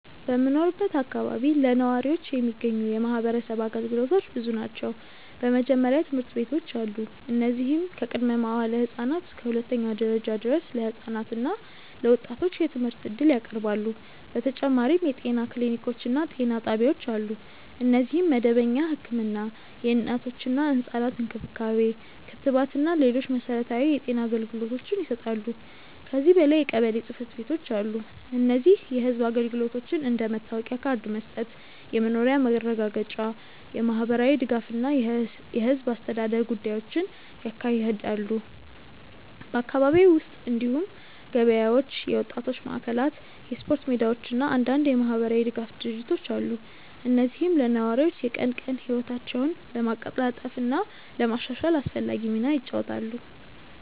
በምኖርበት አካባቢ ለነዋሪዎች የሚገኙ የማህበረሰብ አገልግሎቶች ብዙ ናቸው። በመጀመሪያ ትምህርት ቤቶች አሉ፣ እነዚህም ከቅድመ-መዋዕለ ህፃናት እስከ ሁለተኛ ደረጃ ድረስ ለህፃናት እና ለወጣቶች የትምህርት እድል ያቀርባሉ። በተጨማሪም የጤና ክሊኒኮች እና ጤና ጣቢያዎች አሉ፣ እነዚህም መደበኛ ህክምና፣ እናቶችና ህፃናት እንክብካቤ፣ ክትባት እና ሌሎች መሠረታዊ የጤና አገልግሎቶችን ይሰጣሉ። ከዚህ በላይ የቀበሌ ጽ/ቤቶች አሉ፣ እነዚህም የህዝብ አገልግሎቶችን እንደ መታወቂያ ካርድ መስጠት፣ የመኖሪያ ማረጋገጫ፣ የማህበራዊ ድጋፍ እና የህዝብ አስተዳደር ጉዳዮችን ያካሂዳሉ። በአካባቢው ውስጥ እንዲሁም ገበያዎች፣ የወጣቶች ማዕከላት፣ የስፖርት ሜዳዎች እና አንዳንድ የማህበራዊ ድጋፍ ድርጅቶች አሉ፣ እነዚህም ለነዋሪዎች የቀን ቀን ህይወታቸውን ለማቀላጠፍ እና ለማሻሻል አስፈላጊ ሚና ይጫወታሉ።